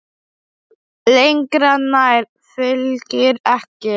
Lengra nær Fylkir ekki.